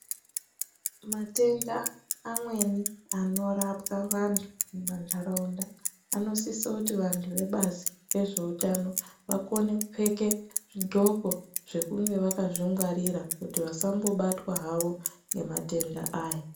Matenda amweni anorapwa vantu mumantaraunda anosisa kuti vantu vebazi rezveutano vakone kupfeke zvidxoko zvekunge vakazvingwarira kuti vasambobatwa havo ngematenda aya.